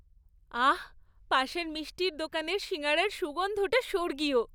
আহ্, পাশের মিষ্টির দোকানের সিঙাড়ার সুগন্ধটা স্বর্গীয়!